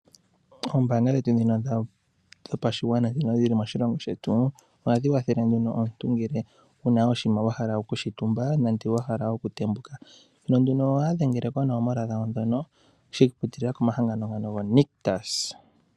Ombaanga dhetu ndhino dhopashigwana ndhono dhili moshilongo shetu, ohadhi wathele nduno omuntu ngele wu na oshinima wa hala okushi tuma nande wa hala okutembuka. Thimbo limwe ohaya dhengele nduno koonomola dhawo ndhono shi ikwatelela komahangano ngano gaNictus.